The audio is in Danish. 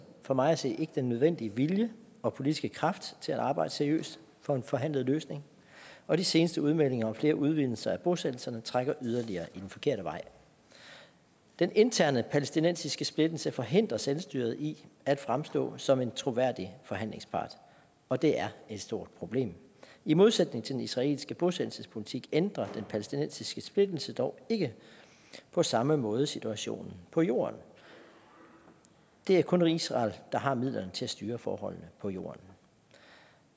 for mig at se ikke den nødvendige vilje og politiske kraft til at arbejde seriøst for en forhandlet løsning og de seneste udmeldinger om flere udvidelser af bosættelserne trækker yderligere i den forkerte retning den interne palæstinensiske splittelse forhindrer selvstyret i at fremstå som en troværdig forhandlingspart og det er et stort problem i modsætning til den israelske bosættelsespolitik ændrer den palæstinensiske splittelse dog ikke på samme måde situationen på jorden det er kun israel der har midlerne til at styre forholdene på jorden